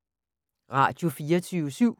Radio24syv